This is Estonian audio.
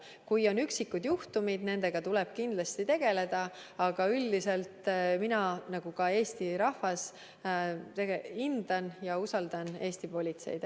Kui on üksikud juhtumid, siis nendega tuleb kindlasti tegeleda, aga üldiselt mina nagu ka Eesti rahvas hindan ja usaldan Eesti politseid.